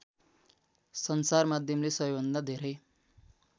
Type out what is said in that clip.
सञ्चारमाध्यमले सबैभन्दा धेरै